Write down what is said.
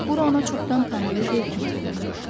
Bura ona çoxdan tanıdığı yer kimi göründü.